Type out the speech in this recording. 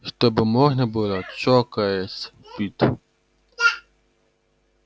чтобы можно было чокаясь пить